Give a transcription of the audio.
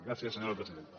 gràcies senyora presidenta